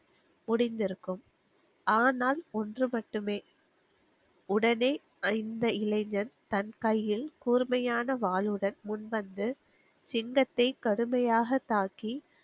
முடிந்திருக்கும். ஆனால் ஒன்று மட்டுமே, உடனே அந்த இளைஞன் தன கையில் கூர்மையான வாளுடன் முன்வந்து சிங்கத்தை கடுமையாக தாக்கி,